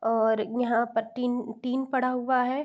और यहाँ पर टीन टीन पड़ा हुआ है।